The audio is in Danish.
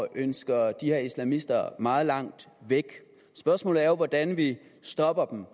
ønsker de her islamister meget langt væk spørgsmålet er jo hvordan vi stopper dem